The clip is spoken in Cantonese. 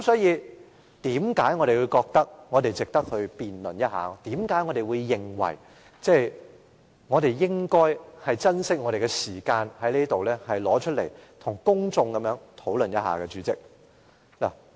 因此，我們覺得這事值得辯論一下，我們認為應該珍惜我們的時間，在這裏跟公眾討論一下。